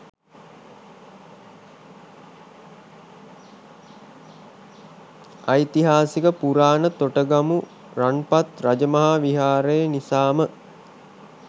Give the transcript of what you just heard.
ඓතිහාසික පුරාණ තොටගමු රන්පත් රජමහා විහාරය නිසාම